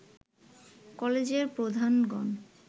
কলেজের প্রধানগণ